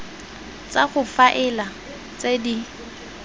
tsa go faela tse di